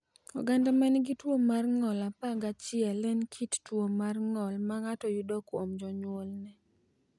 Oganda ma nigi tuwo mar ng’ol 11 en kit tuwo mar ng’ol ma ng’ato yudo kuom jonyuolne.